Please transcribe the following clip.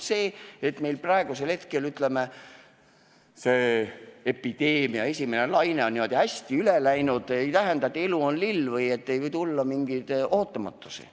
See, et meil praeguseks hetkeks epideemia esimene laine on niimoodi hästi üle läinud, ei tähenda, et elu olekski lill või et ei võiks tulla mingeid ootamatusi.